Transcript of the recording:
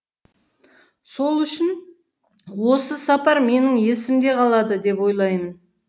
сол үшін осы сапар менің есімде қалады деп ойлаймын